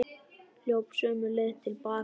Hljóp sömu leið til baka.